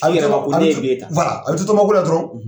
Hali yɛrɛ ba fɔ ko ne ye biye ta . a bi to tɔma ko la dɔrɔn